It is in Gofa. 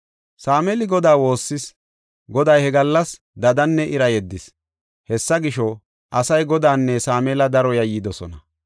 Sameeli Godaa woossis; Goday he gallas dadanne ira yeddis; hessa gisho, asay Godaanne Sameela daro yayyidosona.